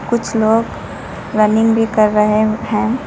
कुछ लोग रनिंग भी कर रहे हैं।